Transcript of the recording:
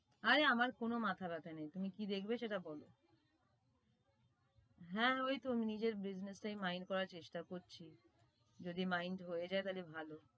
আরে আমার কোন মাথা ব্যাথা নেই তুমি কি দেখবে সেটা বল হ্যাঁ ওই তো নিজের business এই mind করার চেষ্টা করছি।